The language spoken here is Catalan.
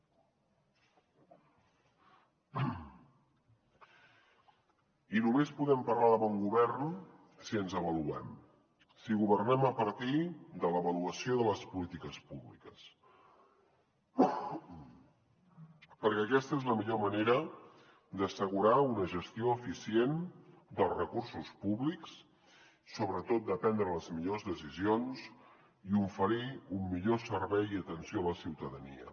i només podem parlar de bon govern si ens avaluem si governem a partir de l’avaluació de les polítiques públiques perquè aquesta és la millor manera d’assegurar una gestió eficient dels recursos públics sobretot de prendre les millors decisions i oferir un millor servei i atenció a la ciutadania